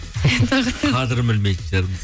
қадырын білмейтін шығармыз